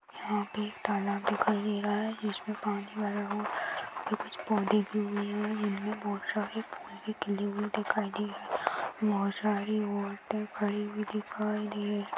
यहांपे एक तालाब दिखाई दे रहा है जिसमें पानी भरा हुआ कुछ पौंधे फूल भी खिले हुये दिखाई दे रहे है बहुत सारी औरते खड़ी हुई दिखाई दे रही है।